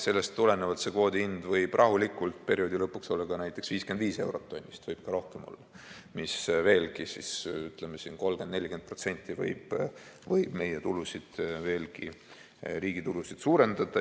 Sellest tulenevalt võib kvoodi hind rahulikult perioodi lõpuks olla näiteks 55 eurot tonnist, võib ka rohkem olla, mis veelgi, ütleme, 30–40% võib meie riigi tulusid suurendada.